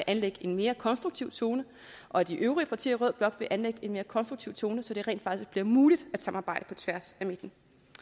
anlægge en mere konstruktiv tone og at de øvrige partier i rød blok vil anlægge en mere konstruktiv tone så det rent faktisk bliver muligt at samarbejde på tværs af midten